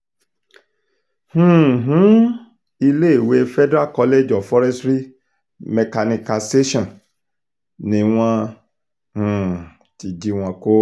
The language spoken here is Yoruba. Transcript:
um iléèwé federal college of forestry mechanicalsation ni wọ́n um ti jí wọn kó